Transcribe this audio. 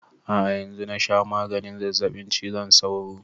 A'a yanzu na sha maganin zazzaɓin cizon sauro